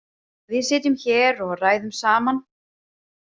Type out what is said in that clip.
Við sitjum hér og ræðum saman.